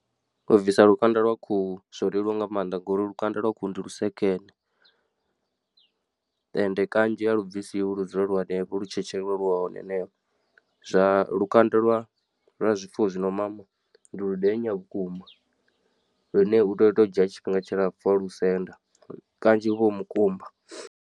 U bvisa lukanda lwa khuhu zwo leluwa nga maanḓa ngori lukanda lwa khuhu ndi lusekene, ende kanzhi a lu bvisiwi lu dzula lu henefho lu tshetshelelwa lu hone haneyo. Zwa lukanda lwa lwa zwifuwo zwino mama ndi ludenya vhukuma lune u tea u to dzhia tshifhinga tshilapfu wa lusenda kanzhi hu vha hu mukumba.